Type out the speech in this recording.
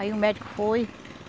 Aí o médico foi.